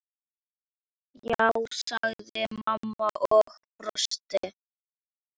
Já, sagði mamma og brosti.